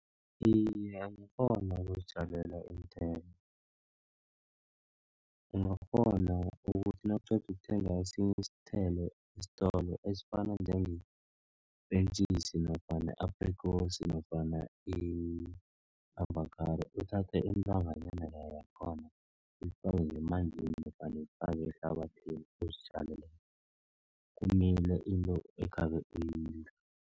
Iye, angakghona ukuzitjalela iinthelo. Ungakghona ukuthi nawuqeda ukuthenga esinye isithelo esitolo. Esifana njengepentjisi nofana i-aprikosi nofana i-avokhado uthathe indanganyana leya yakhona uyifake ngemanzini nofana uyifake ehlabathini. Uzitjalele yona kumile into ekhabe